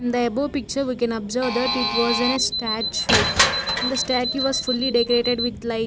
in the above picture we can observe that it was in a statue the statue was fully decarated with like --